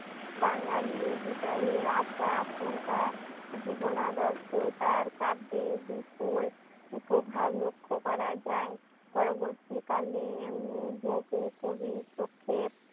বাঙালির হৃদয়ে আসা আশঙ্কা জীবনাদত্ত তার কাব্যের বিপুল প্রভাব লক্ষ্য করা যাই পরবর্তী কালে উম বহু কবির পক্ষে